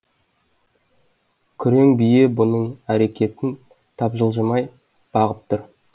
күрең бие бұның әрекетін тапжылжымай бағып тұр